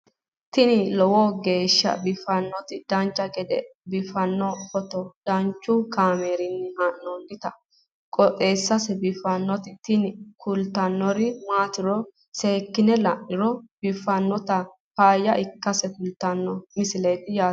tini lowo geeshsha biiffannoti dancha gede biiffanno footo danchu kaameerinni haa'noonniti qooxeessa biiffannoti tini kultannori maatiro seekkine la'niro biiffannota faayya ikkase kultannoke misileeti yaate